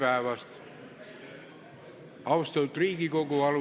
Tere päevast, austatud Riigikogu!